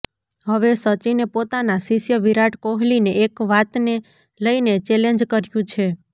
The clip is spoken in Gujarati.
હવે સચિને પોતાના શિષ્ય વિરાટ કોહલીને એક વાતને લઇને ચેલેન્જ કર્યું છે